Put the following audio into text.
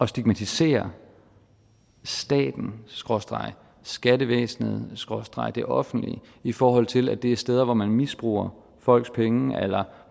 stigmatisere staten skråstreg skattevæsenet skråstreg det offentlige i forhold til at det er steder hvor man misbruger folks penge eller